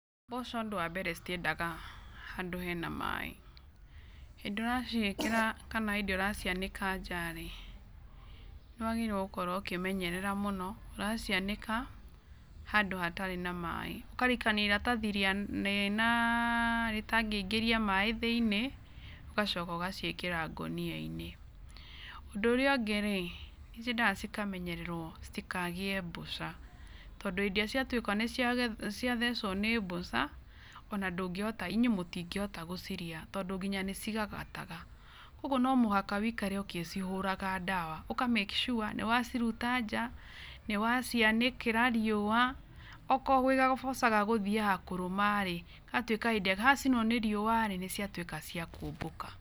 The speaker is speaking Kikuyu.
Mboco ũndũ wa mbere citiendaga handũ hena maĩ. Hĩndĩ ĩrĩa ũraciĩkĩra, kana hĩndĩ ĩrĩa ũracianĩka nja rĩ, nĩ wagĩrĩirwo gũkorũo ũkĩmenyerera mũno, ũracianĩka handũ hatarĩ na maĩ. Ũkarikania iratathĩ rĩtangĩingĩria maĩ thĩiniĩ, ũgacoka ũgaciĩkĩra ngũnia-inĩ. Ũndũ ũrĩa ũngĩ rĩ, nĩ ciendaga cikamenyererwo citikagĩe mbũca tondũ hĩndĩ ĩrĩa ciatuĩka nĩciathecwo nĩ mbũca, ona ndũngĩhota, inyuĩ mũtingĩhota gũcirĩa tondũ nĩcigagataga. Koguo no mũhaka ũikarage ũgĩcihũraga ndawa, ũkamaki cua nĩ waciruta nja, nĩ wacianĩkĩra riũa, okorwo gwĩ gabũca gegũthiaga kũrũma rĩ, gagatuĩka hĩndĩ ĩrĩa gacinwo nĩ riũa rĩ, nĩ ciatuĩka cia kũmbũka.